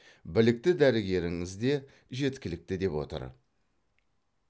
білікті дәрігеріңіз де жеткілікті деп отыр